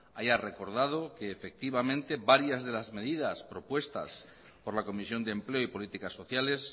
haya recordado que efectivamente varias de las medias propuestas por la comisión de empleo y políticas sociales